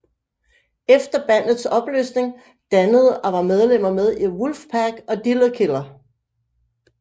Efter bandets opløsning dannede og var medlemmer med i Wolfpack og Driller Killer